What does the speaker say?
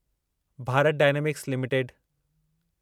Bharat dynamics limited